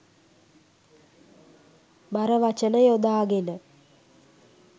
බර වචන යොදාගෙන